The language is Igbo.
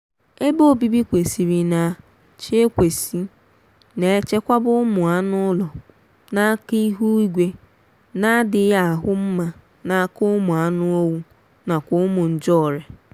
ebe obibi kwesịrị na ch ekwesị na-echekwaba ụmụa anụụlọ n'aka ihuigwe na-adịghị ahụ nma n'aka ụmụ anụowu nakwa ụmụ njeọria